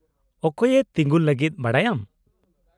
-ᱚᱠᱚᱭᱮ ᱛᱤᱜᱩᱱ ᱞᱟᱹᱜᱤᱫ ᱵᱟᱰᱟᱭᱟᱢ ?